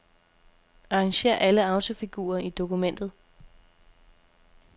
Arrangér alle autofigurer i dokumentet.